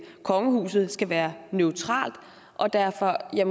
kongehuset jo skal være neutralt og derfor er